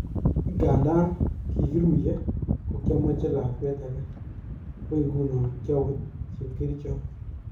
Inganda kikiruye kokiomoche lakwet age ,ako ngunon kiowe chepkerichot.